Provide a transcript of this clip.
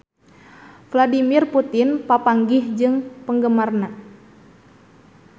Vladimir Putin papanggih jeung penggemarna